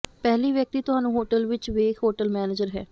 ਪਹਿਲੀ ਵਿਅਕਤੀ ਤੁਹਾਨੂੰ ਹੋਟਲ ਵਿੱਚ ਵੇਖ ਹੋਟਲ ਮੈਨੇਜਰ ਹੈ